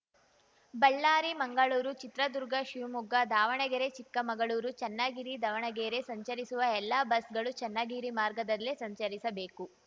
ಬಳ್ಳಾರಿಮಂಗಳೂರು ಚಿತ್ರದುರ್ಗಶಿವಮೊಗ್ಗ ದಾವಣಗೆರೆಚಿಕ್ಕಮಗಳೂರು ಚನ್ನಗಿರಿದಾವಣಗೆರೆ ಸಂಚರಿಸುವ ಎಲ್ಲ ಬಸ್‌ಗಳು ಚನ್ನಗಿರಿ ಮಾರ್ಗದಲ್ಲೇ ಸಂಚರಿಸಬೇಕು